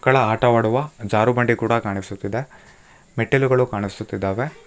ಮಕ್ಕಳ ಆಟ ಆಡುವ ಜಾರುಬಂಡೆ ಕೂಡ ಕಾಣಿಸುತ್ತಿದೆ ಮೆಟ್ಟಿಲುಗಳು ಕಾಣಿಸುತ್ತಿದ್ದಾವೆ.